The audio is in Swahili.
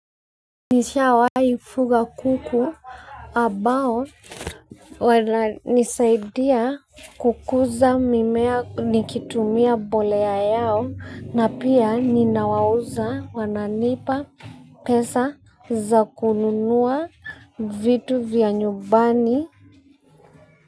Nishawahi fuga kuku ambao wananisaidia kukuza mimea nikitumia mbolea yao na pia ninawauza wananipa pesa za kununua vitu vya nyumbani.